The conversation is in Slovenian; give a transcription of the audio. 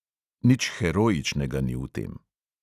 Nič heroičnega ni v tem.